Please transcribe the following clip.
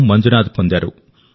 మంజునాథ్ పొందారు